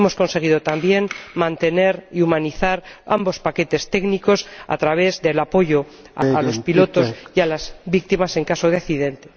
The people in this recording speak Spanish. Hemos conseguido también mantener y humanizar ambos paquetes técnicos a través del apoyo a los conductores y a las víctimas en caso de accidente.